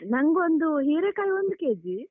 ನಂಗೊಂದು ಹಿರೇಕಾಯಿ ಒಂದು kg.